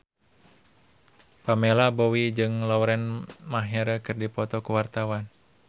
Pamela Bowie jeung Lauren Maher keur dipoto ku wartawan